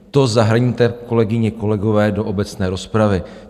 To zahrňte, kolegyně, kolegové, do obecné rozpravy.